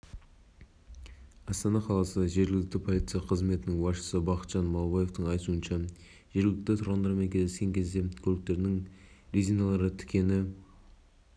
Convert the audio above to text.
айта кетейік парламент мәжілісінің пленарлық отырысында қазақстан республикасының кейбір заңнамалық актілеріне өсімдіктер және жануарлар дүниесі мәселелері бойынша өзгерістер мен толықтырулар